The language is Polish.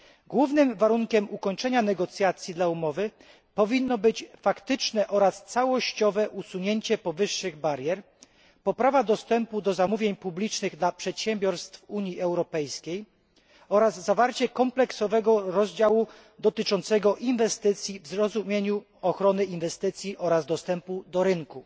Głównym warunkiem ukończenia negocjacji w sprawie umowy powinno być faktyczne oraz całościowe usunięcie powyższych barier, poprawa dostępu do zamówień publicznych dla przedsiębiorstw Unii Europejskiej oraz zawarcie kompleksowego rozdziału dotyczącego inwestycji w rozumieniu ochrony inwestycji oraz dostępu do rynku.